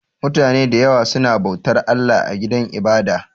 Mutane da yawa suna bautar Allah a gidan ibada